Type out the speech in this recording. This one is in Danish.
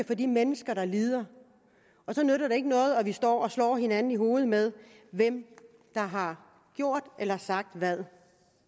for de mennesker der lider og så nytter det ikke noget at vi står og slår hinanden i hovedet med hvem der har gjort eller sagt hvad